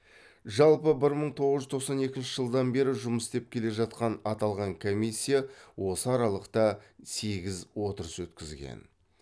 жалпы бір мың тоғыз жүз тоқсан екінші жылдан бері жұмыс істеп келе жатқан аталған комиссия осы аралықта сегіз отырыс өткізген